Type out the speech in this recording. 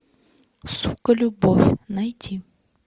сука любовь найти